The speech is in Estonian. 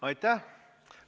Aitäh!